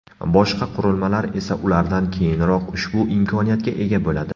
Boshqa qurilmalar esa ulardan keyinroq ushbu imkoniyatga ega bo‘ladi.